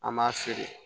An m'a feere